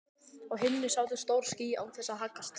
Á himni sátu stór ský án þess að haggast.